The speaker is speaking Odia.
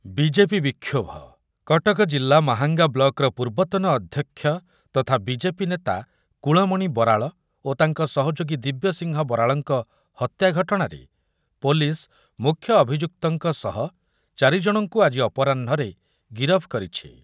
ବିଜେପିର ବିକ୍ଷୋଭ, କଟକ ଜିଲ୍ଲା ମାହାଙ୍ଗା ବ୍ଲକର ପୂର୍ବତନ ଅଧ୍ୟକ୍ଷ ତଥା ବିଜେପି ନେତା କୁଳମଣି ବରାଳ ଓ ତାଙ୍କ ସହଯୋଗୀ ଦିବ୍ୟସିଂହ ବରାଳଙ୍କ ହତ୍ୟା ଘଟଣାରେ ପୋଲିସ ମୁଖ୍ୟ ଅଭିଯୁକ୍ତଙ୍କ ସହ ଚାରି ଜଣଙ୍କୁ ଆଜି ଅପରାହ୍ନରେ ଗିରଫ କରିଛି ।